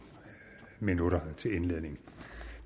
minutter til indledning